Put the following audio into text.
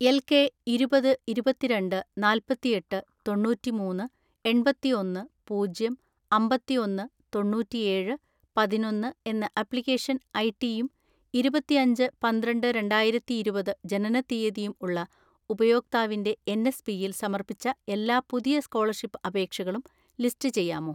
L K ഇരുപത്‌ ഇരുപത്തിരണ്ട്‌ നാല്‍പത്തിഎട്ട് തൊണ്ണൂറ്റിമൂന്ന് എണ്‍പത്തിഒന്ന് പൂജ്യം അമ്പത്തിഒന്ന് തൊണ്ണൂറ്റിഏഴ് പതിനൊന്ന്‌ എന്ന ആപ്ലിക്കേഷൻ ഐടിയും ഇരുപത്തിഅഞ്ച് പന്ത്രണ്ട് രണ്ടായിരത്തിഇരുപത് ജനനത്തീയതിയും ഉള്ള ഉപയോക്താവിന്റെ എൻഎസ് പിയിൽ സമർപ്പിച്ച എല്ലാ പുതിയ സ്‌കോളർഷിപ്പ് അപേക്ഷകളും ലിസ്റ്റ് ചെയ്യാമോ?